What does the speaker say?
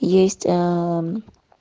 есть аа